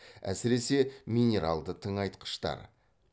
әсіресе минералды тыңайтқыштар